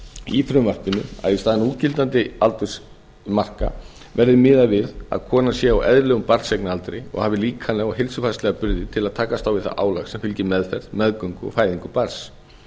í frumvarpinu að í staðinn fyrir núgildandi aldursmarka verði miðað við að konan sé á eðlilegum barneignaraldri og hafi líkamlega og heilsufarslega burði til að takast á við það álag sem fylgir meðferð meðgöngu og fæðingu barns